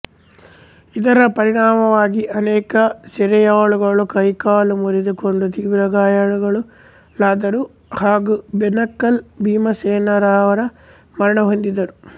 ಇದರ ಪರಿಣಾಮವಾಗಿ ಅನೇಕ ಸೆರೆಯಾಳುಗಳು ಕೈಕಾಲು ಮುರಿದುಕೊಂಡು ತೀವ್ರ ಗಾಯಾಳುಗಳಾದರು ಹಾಗು ಬೆಣಕಲ್ ಭೀಮಸೇನರಾವ ಮರಣ ಹೊಂದಿದರು